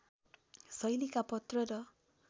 शैलीका पत्र र